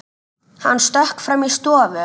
Hann stökk fram í stofu.